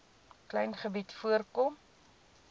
klein gebied voorkom